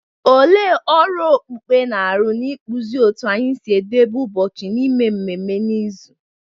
Olee ọrụ okpukpe na-arụ n’ịkpụzi otú anyị si edebe ụbọchị na ime ememme n’izu?